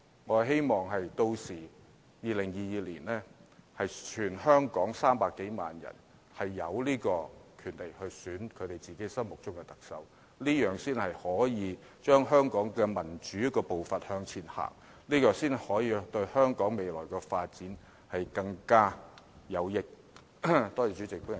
我希望到了2022年，全港300多萬名選民均有權選擇自己心目中的特首，這樣才可以帶動香港的民主步伐向前走，這才對香港未來的發展更有益。